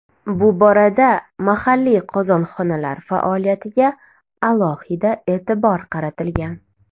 Bu borada mahalliy qozonxonalar faoliyatiga alohida e’tibor qaratilgan.